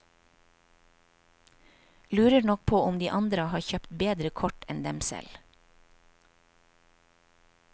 Lurer nok på om de andre har kjøpt bedre kort enn dem selv.